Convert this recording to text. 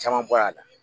Caman bɔ a la